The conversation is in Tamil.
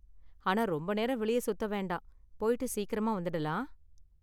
ஆனா ரொம்ப நேரம் வெளிய சுத்த வேண்டாம், போய்ட்டு சீக்கிரமா வந்திடலாம்.